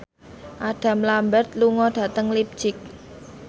Adam Lambert lunga dhateng leipzig